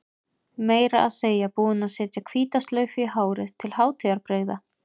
Meira að segja búin að setja hvíta slaufu í hárið til hátíðarbrigða.